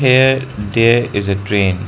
here there is a train.